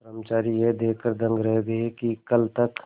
कर्मचारी यह देखकर दंग रह गए कि कल तक